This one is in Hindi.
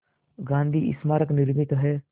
गांधी स्मारक निर्मित है